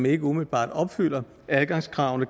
ikke umiddelbart opfylder adgangskravene